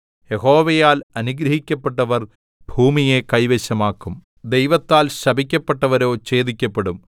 യഹോവയാൽ അനുഗ്രഹിക്കപ്പെട്ടവർ ഭൂമിയെ കൈവശമാക്കും ദൈവത്താൽ ശപിക്കപ്പെട്ടവരോ ഛേദിക്കപ്പെടും